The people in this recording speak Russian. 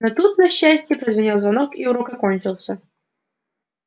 но тут на счастье прозвенел звонок и урок окончился